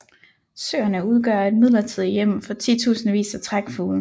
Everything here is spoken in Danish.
Søerne udgør et midlertidigt hjem for titusindvis af trækfugle